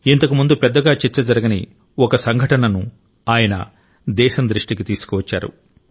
ఇంతకు ముందు పెద్దగా చర్చ జరగని ఒక సంఘటనను ఆయన దేశం దృష్టికి తీసుకువచ్చారు